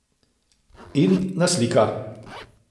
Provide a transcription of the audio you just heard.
In naslika.